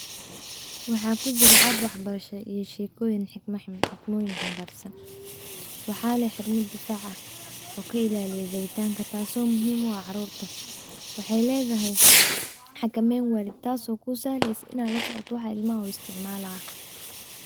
Waxaa kujira app waxbarasha iyo sheekooyin xikmooyin xambarsan waxaa leh xirmad difac ah oo ka ilaaliya jabitanka taaso muhiim u ah carurta waxay leedahay xakamayn waalid taaso ku sahlaysa inaa lasocota waxa ilmaha u isticmaalaya.